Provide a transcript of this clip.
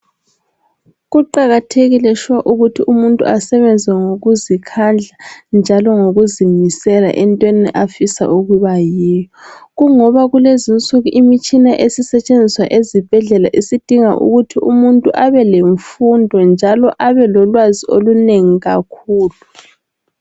Kuqakathekile shuwa ukuthi umuntu asebenze ngokuzikhandla njalo ngokuzimisela entweni afisa ukuba yiyo, kungoba kulezinsuku imitshina esisetshenziswa ezibhedlela isidinga ukuthi umuntu abelemfundo njalo abelolwazi olunengi kakhulu.